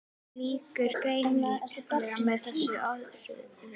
Svo lýkur greininni með þessum orðum